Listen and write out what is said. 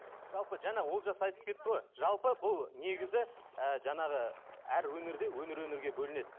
жалпы жаңа олжас айтып кетті ғой жалпы бұл негізі ы жаңағы әр өңірде өңір өңірге бөлінеді